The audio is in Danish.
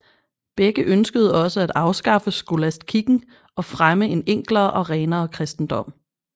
Begge ønskede også at afskaffe skolastkikken og fremme en enklere og renere kristendom